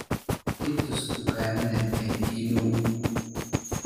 i tus dukaamada ii dhow